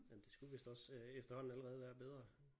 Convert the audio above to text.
Jamen det skulle vist også efterhånden allerede være bedre